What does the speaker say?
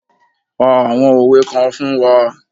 Pa àwọn òwe kan fún wa